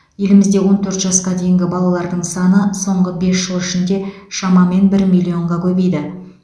елімізде он төрт жасқа дейінгі балалардың саны соңғы бес жыл ішінде шамамен бір миллионға көбейді